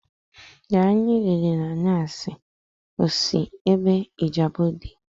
Garị anyị riri nnya osị Ijabode?